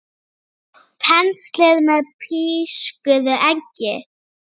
Penslið með pískuðu eggi.